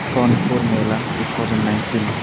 सोनपुर मेला two thousand nineteen.